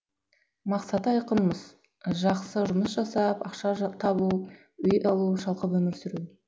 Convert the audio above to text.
мақсаты айқын мыс жақсы жұмыс жасап ақша табу үй алу шалқып өмір сүру